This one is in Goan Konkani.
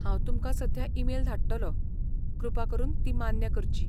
हांव तुमकां सध्या ईमेल धाडटलो. कृपा करून ती मान्य करची.